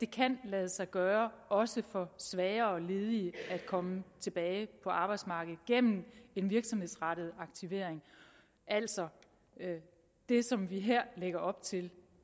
kan lade sig gøre også for svagere ledige at komme tilbage på arbejdsmarkedet gennem en virksomhedsrettet aktivering altså det som vi her lægger op til